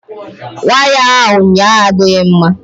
Waya ahụ ụnyaahụ adịghị mma.